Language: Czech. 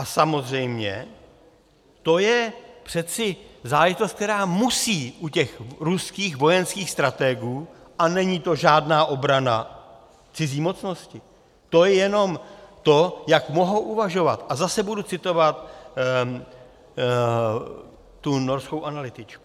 A samozřejmě to je přece záležitost, která musí u těch ruských vojenských stratégů - a není to žádná obrana cizí mocnosti, to je jenom to, jak mohou uvažovat - a zase budu citovat tu norskou analytičku.